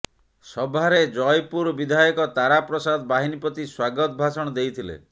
ସଭାରେ ଜୟପୁର ବିଧାୟକ ତାରା ପ୍ରସାଦ ବାହିନୀପତି ସ୍ବାଗତ ଭାଷଣ ଦେଇଥିଲେ